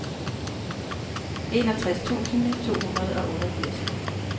enogtres tusind to hundrede og otteogfirs